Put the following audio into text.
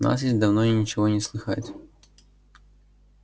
у нас есть давно ничего не слыхать